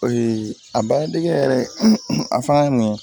a baara dege yɛrɛ a fanga ye mun ye